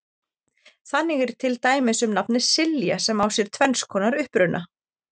Þannig er til dæmis um nafnið Silja sem á sér tvenns konar uppruna.